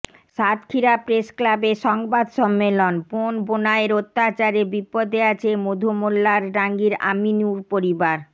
সাতক্ষীরা প্রেসক্লাবে সংবাদ সম্মেলন বোন বোনাইয়ের অত্যাচারে বিপদে আছে মধুমোল্লারডাঙ্গির আমিনুর পরিবার